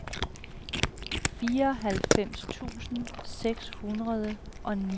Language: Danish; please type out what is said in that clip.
fireoghalvfems tusind seks hundrede og niogfirs